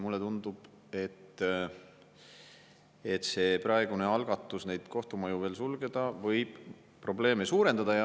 Mulle tundub, et praegune algatus kohtumaju veel sulgeda võib probleeme suurendada.